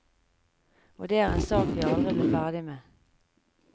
Og det er en sak vi aldri blir ferdig med.